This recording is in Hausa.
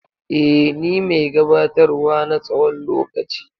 Eh, ni mai gabatar wa na tsawon lokaci.